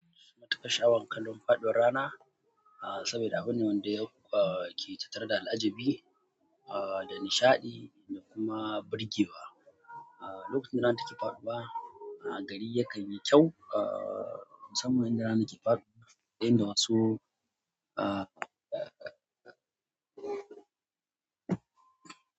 Ina matukar sha'awar kallon faɗuwar rana, ah saboda abin wanda yake tattare da al'ajabi, ah da nishaɗi da kuma burge wa. Ah, lokacin da rana take faɗuwa, ah gari yakan yi kyau ah musamman inda rana ke faɗuwa, inda wasu ah.